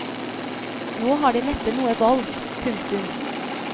Nå har de neppe noe valg. punktum